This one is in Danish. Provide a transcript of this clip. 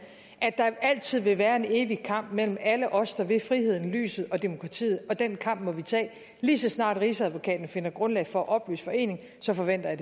at der altid vil være en evig kamp mellem alle os der vil friheden lyset og demokratiet og den kamp må vi tage lige så snart rigsadvokaten finder grundlag for at opløse foreningen så forventer